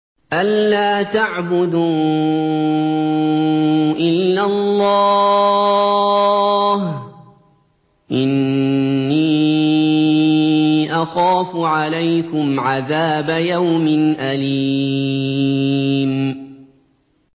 أَن لَّا تَعْبُدُوا إِلَّا اللَّهَ ۖ إِنِّي أَخَافُ عَلَيْكُمْ عَذَابَ يَوْمٍ أَلِيمٍ